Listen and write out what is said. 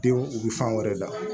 Denw u bɛ fan wɛrɛ da